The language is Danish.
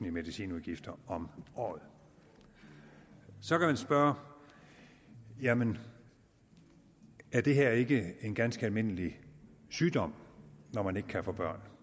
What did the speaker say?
i medicinudgifter om året så kan man spørge jamen er det her ikke en ganske almindelig sygdom når man ikke kan få børn